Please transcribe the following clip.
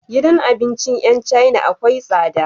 Gidan abincin yan china akwai tsada